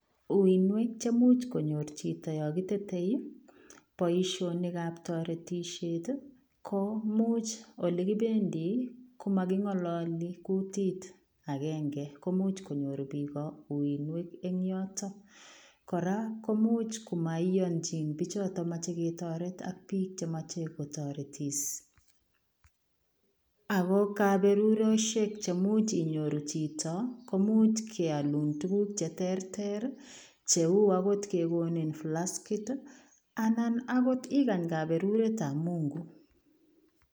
Uinwek chemuch konyor chito yon kitete boisionikab toretishet ii komuch olekibendi komokingololi kutit agenge komuch konyor bik uinwek en yotok, koraa komuch komoiyonchin bichoton moche ketoret ak bik chemiche kotoretis , ako koberurishek cheimuch inyoru chito komuch keolun tuguk cheterter ii cheu okot kekoni blaskit ii anan okot igany kaberuretab Mungu.